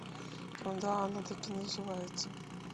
да она так и называется